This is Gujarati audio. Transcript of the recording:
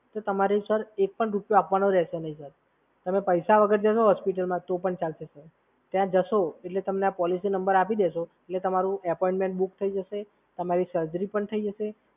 તો તમારે સર એક પણ રૂપિયો આપવાનો રહેશે નહીં. તમે પૈસા વગર જશો હોસ્પિટલમાં તો પણ ચાલશે. ત્યાં જશો એટલે તમે આ પોલિસી નંબર આપી દેશો એટલે તમારી એપોઇન્ટમેન્ટ બુક થઈ જશે, તમારી સર્જરી પણ થઈ જશે,